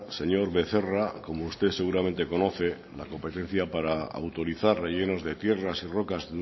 señor becerra como usted seguramente conoce la competencia para autorizar rellenos de tierras y rocas